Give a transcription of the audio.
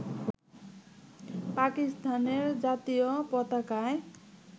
পাকিস্তানের জাতীয় পতাকায়